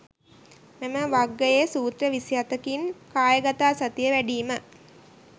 මෙම වග්ගයේ සූත්‍ර 24 කින් කායගතාසතිය වැඩීම